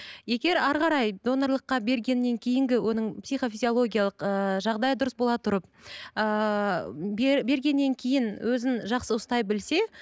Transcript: егер әрі қарай донорлыққа бергеннен кейінгі оның психофизиолгиялық ыыы жағдайы дұрыс бола тұрып ыыы бергеннен кейін өзін жақсы ұстай білсе